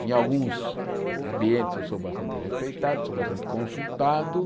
Em alguns ambientes eu sou bastante respeitado, sou bastante consultado.